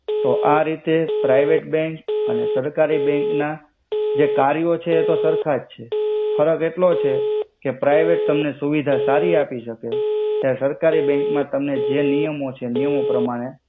તો આ રિતે પ્રિવેટ બેંક અને સરકારિ બેંક ના જે કર્યો છે એતો સર્ખા જ છે ફરક એટ્લો જ છે કે પ્રિવેટ તમને સુવિધા સારિ આપિ સકે જ્યા સરકારી બેંક મા તમે જે નિયમો છે એ નિયમો પ્રમાણે